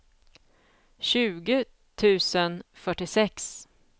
tjugo tusen fyrtiosex